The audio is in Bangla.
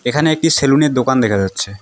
এখানে একটি সেলুনের দোকান দেখা যাচ্ছে।